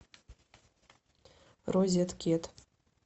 розеткед